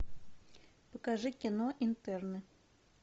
покажи кино интерны